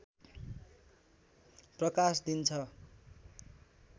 प्रकाश दिन्छ